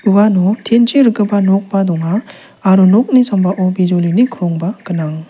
uano tin chi rikgipa nokba donga aro nokni sambao bijolini krongba gnang.